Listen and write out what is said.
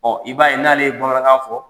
i b'a ye n'ale ye bamanakan fɔ